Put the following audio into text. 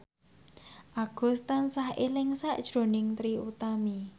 Agus tansah eling sakjroning Trie Utami